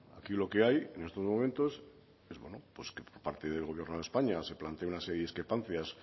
aquí lo que hay en estos momentos es que por parte del gobierno de españa se plantea una serie de discrepancias